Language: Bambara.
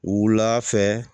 Wula fɛ